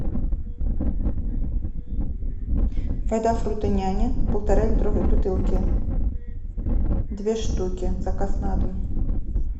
вода фрутоняня в полтора литровой бутылке две шутки заказ на дом